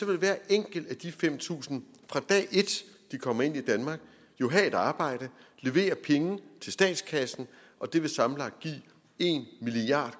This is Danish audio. vil hver enkelt af de fem tusind fra dag et de kommer ind i danmark jo have et arbejde levere penge til statskassen og det vil sammenlagt give en milliard